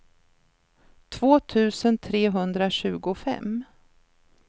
två tusen trehundratjugofem